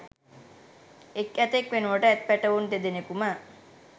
එක් ඇතෙක් වෙනුවට ඇත් පැටවුන් දෙදෙනෙකුම